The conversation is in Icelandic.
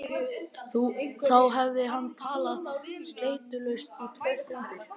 Þá hafði hann talað sleitulaust í tvær stundir.